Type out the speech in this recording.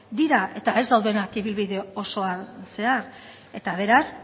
dira eta ez daudenak ibilbide osoan zehar eta beraz